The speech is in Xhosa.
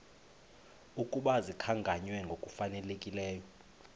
ukuba zikhankanywe ngokufanelekileyo